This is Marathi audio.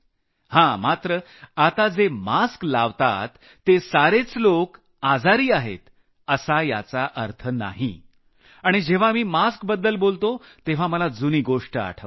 हां आता जे मास्क चढवतात ते सारेच लोक आजारी आहेत असा याचा अर्थ नाही आणि जेव्हा मी मास्कबद्दल बोलतो तेव्हा मला जुनी गोष्ट आठवते